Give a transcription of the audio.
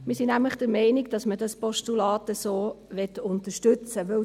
Wir sind nämlich der Meinung, dass wir das Postulat so unterstützen möchten.